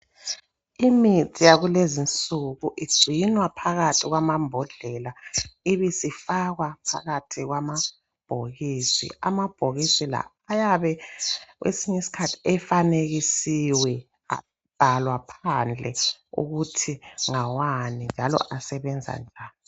Imithi yakulezi nsuku igcinwa phakathi kwamambodlela ibisifakwa phakathi kwamabhokisi . Amabhokisi la ayabe kwesinye isikhathi ayabe efanekisiweyo abhahlwa phansi ukuthi ngawani njalo asebenza njani.